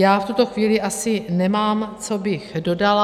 Já v tuto chvíli asi nemám, co bych dodala.